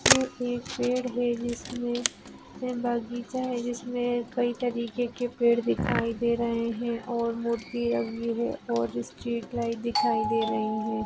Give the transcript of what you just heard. यह एक पेड़ है जिसमे बगीचा है जिसमे कई तरीके के पेड़ दिखाई दे रहे है और मूर्ति लगी हुई है और इस्ट्रीट लाइट दिखाई दे रही है।